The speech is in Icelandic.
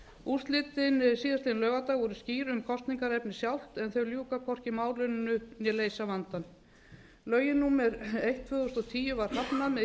úrslitin síðastliðinn laugardag voru skýr um kosningaefnið sjálft en þau ljúka hvorki málinu né leysa vandann lögum númer eitt tvö þúsund og tíu var hafnað með